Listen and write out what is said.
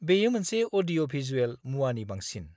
-बेयो मोनसे अडिय'-भिजुएल मुवानि बांसिन।